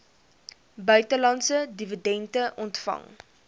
buitelandse dividende ontvang